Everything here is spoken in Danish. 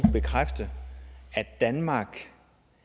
bekræfte at danmark